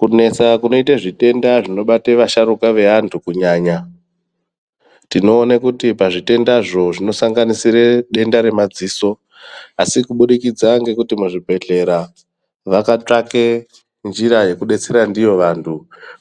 Kunetsa kunoita zvitenda zvinobata vasharuka veantu kunyaya, tinoona kuti pazvitendazvo zvinosanganisira denda remadziso asi kubudikidza ngekuti muzvibhedhlera vakatsvake njira yekudetsera ndiyo vantu